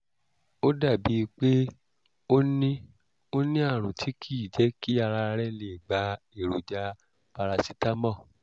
ó dàbíi pé ó ní ó ní àrùn tí kì í jẹ́ kí ara lè gba èròjà paracetamol